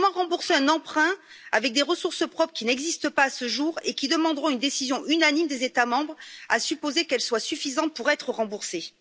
Comment rembourser un emprunt avec des ressources propres qui n'existent pas à ce jour et qui demanderont une décision unanime des États membres, à supposer qu'elles soient suffisantes pour permettre le remboursement?